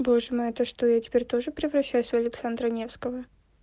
боже мой это что я теперь тоже превращаюсь в александра невского